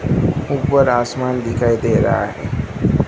ऊपर आसमान दिखाई दे रहा हैं।